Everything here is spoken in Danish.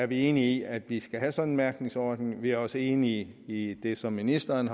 vi enige i at vi skal have sådan en mærkningsordning vi er også enige i det som ministeren